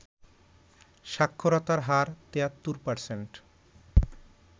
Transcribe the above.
সাক্ষরতার হার ৭৩%